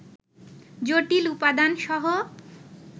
জটিল উপাদানসহ